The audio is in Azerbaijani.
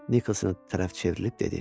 Nikolsona tərəf çevrilib dedi.